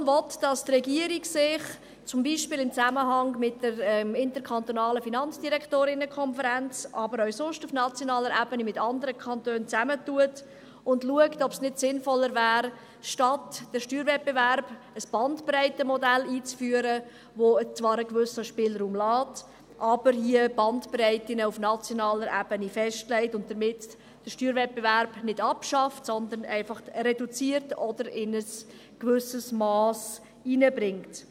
Die Motion will, dass sich die Regierung in diesem Zusammenhang zum Beispiel mit der Konferenz der kantonalen Finanzdirektorinnen und Finanzdirektoren (FDK), aber auch sonst auf nationaler Ebene mit anderen Kantone zusammentut und schaut, ob es nicht sinnvoller wäre, statt des Steuerwettbewerbs ein Bandbreitenmodell einzuführen, das zwar einen gewissen Spielraum lässt, aber Bandbreiten auf nationaler Ebene einführt und damit den Steuerwettbewerb nicht abschafft, sondern einfach reduziert oder in ein gewisses Mass hineinbringt.